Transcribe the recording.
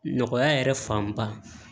Nɔgɔya yɛrɛ fanba